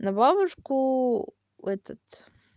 на бабушку этот